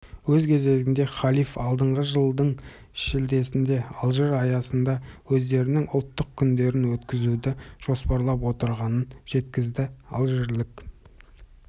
өз кезегінде халиф алдағы жылдың шілдесінде алжир аясында өздерінің ұлттық күндерін өткізуді жоспарлап отырғанын жеткізді алжирлік